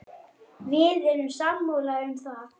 Við erum sammála um það.